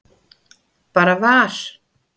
Bara var.